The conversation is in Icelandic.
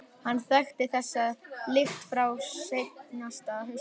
Hann þekkti þessa lykt frá seinasta hausti.